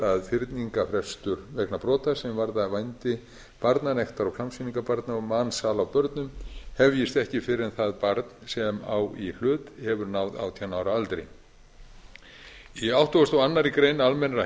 að fyrningarfrestur vegna brota sem varða vændi barna nektar og klámsýningar barna og mansal á börnum hefjist ekki fyrr en það barn sem á í hlut hefur náð átján ára aldri í áttugasta og aðra grein almennra